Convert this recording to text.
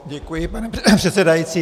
Děkuji, pane předsedající.